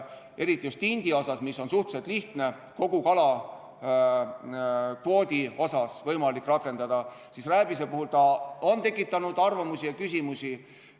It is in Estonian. Just tindi puhul on suhteliselt lihtne seda kogu kalakvoodi kohta rakendada, rääbise puhul on see tekitanud eriarvamusi ja küsimusi.